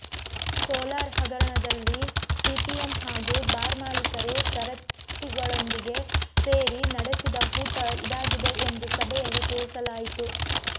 solar ಹಗರಣದಲ್ಲಿ CPM ಹಾಗೂ bar ಮಾಲಕರು ಸರಿತಳೊಂದಿಗೆ ಸೇರಿ ನಡೆಸಿದ ಹೂಟ ಇದಾಗಿದೆ ಎಂದು ಸಭೆಯಲ್ಲಿ ತಿಳಿಸಲಾಯಿತು